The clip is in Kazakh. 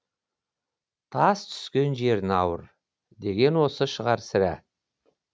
тас түскен жеріне ауыр деген осы шығар сірә